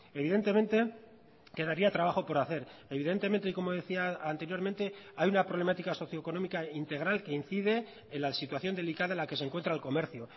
evidentemente quedaría trabajo por hacer evidentemente y como decía anteriormente hay una problemática socioeconómica integral que incide en la situación delicada en la que se encuentra el comercio